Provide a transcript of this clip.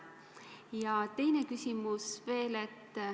Ja teine küsimus veel.